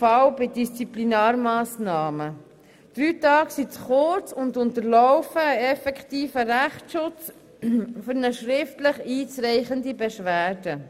Drei Tage sind zu kurz und unterlaufen einen effektiven Rechtsschutz, sie reichen nicht aus für eine schriftlich einzureichende Beschwerde.